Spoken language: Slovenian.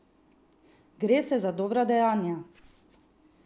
Gre se za dobra dejanja!